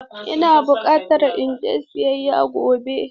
Ina buƙatan in je siyayya gobe.